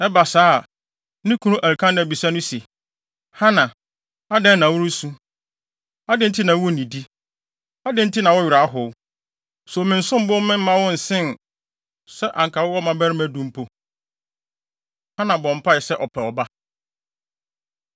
Ɛba saa a, ne kunu Elkana bisa no se, “Hana, adɛn na woresu? Adɛn nti na wunnidi? Adɛn nti na wo werɛ ahow? So mensom bo mma wo nsen sɛ anka wowɔ mmabarima du mpo?” Hana Bɔ Mpae Sɛ Ɔpɛ Ɔba